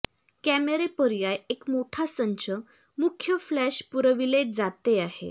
कॅमेरे पर्याय एक मोठा संच मुख्य फ्लॅश पुरविले जाते आहे